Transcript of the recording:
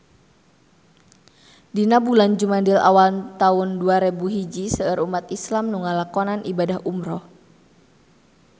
Dina bulan Jumadil awal taun dua rebu hiji seueur umat islam nu ngalakonan ibadah umrah